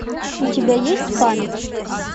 у тебя есть память